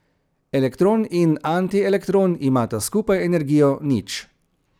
Elektron in antielektron imata skupaj energijo nič.